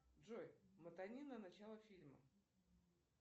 джой мотани на начало фильма